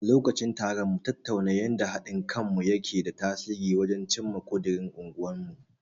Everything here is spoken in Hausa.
Lokacin taron, mun tattauna yanda haɗin kanmu yake da tasiri wajen cimma ƙudirin unguwarmu.